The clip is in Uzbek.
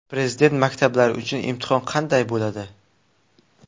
Prezident maktablari uchun imtihon qanday bo‘ladi?.